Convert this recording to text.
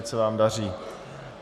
Ať se vám daří.